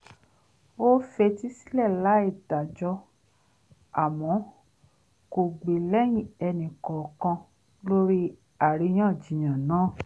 ó fetí sílẹ̀ láì dájọ́ àmọ́ kò gbè lẹ́yìn enì kọọkan lórí àríyànjiyàn náà